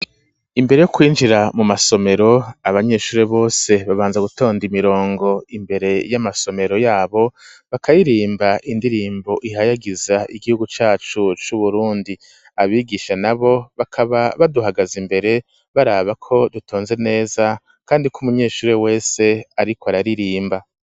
Imbere yo kwinjira mu masomero, abanyeshure bose babanza gutonda imirongo, imbere y'amasomero yabo, bakaririmba indirimbo ihayagiza igihugu cacu c'Uburundi; abigisha nabo bakaba baduhagaze imbere, baraba ko dutonze neza kandi ko umunyeshure wese ariko araririmba.